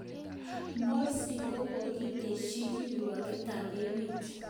Morsi kogokistechi kirwoget tab meet.